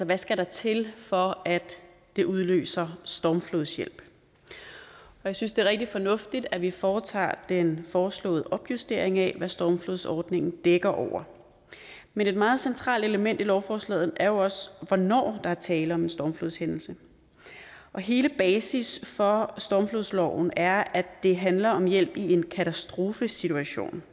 der skal til for at det udløser stormflodshjælp jeg synes det er rigtig fornuftigt at vi foretager den foreslåede opjustering af hvad stormflodsordningen dækker over men et meget centralt element i lovforslaget er jo også hvornår der er tale om en stormflodshændelse hele basis for stormflodsloven er at det handler om hjælp i en katastrofesituation